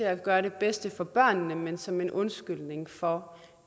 at gøre det bedste for børnene men som en undskyldning for